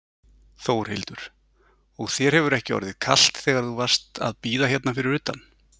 Þórhildur: Og þér hefur ekki orðið kalt þegar þú varst að bíða hérna fyrir utan?